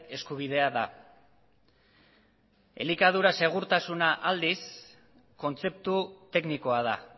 eskubidea da elikadura segurtasuna aldiz kontzeptu teknikoa da